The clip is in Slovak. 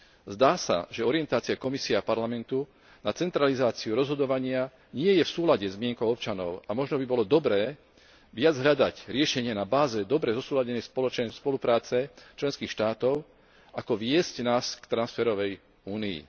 Zdá sa, že orientácia Komisie a Parlamentu na centralizáciu rozhodovania nie je v súlade s mienkou občanov, a možno by bolo dobré viac hľadať riešenie na báze dobre zosúladenej spolupráce členských štátov, ako viesť nás k transferovej únii.